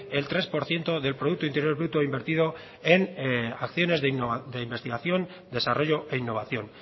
el tres por ciento de producto interior bruto invertido en acciones de investigación desarrollo e innovación